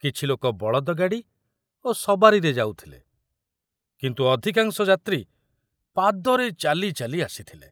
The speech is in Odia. କିଛି ଲୋକ ବଳଦ ଗାଡ଼ି ଓ ସବାରିରେ ଯାଉଥିଲେ, କିନ୍ତୁ ଅଧିକାଂଶ ଯାତ୍ରୀ ପାଦରେ ଚାଲି ଚାଲି ଆସିଥିଲେ।